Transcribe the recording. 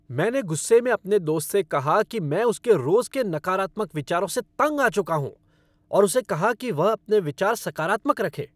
मैंने गुस्से में अपने दोस्त से कहा कि मैं उसके रोज के नकारात्मक विचारों से तंग आ चुका हूँ और उसे कहा कि वह अपने विचार सकारात्मक रखे।